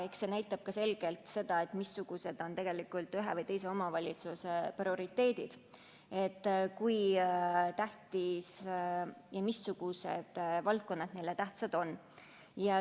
See näitab selgelt ka seda, missugused on tegelikult ühe või teise omavalitsuse prioriteedid, mis valdkonnad neile tähtsad on.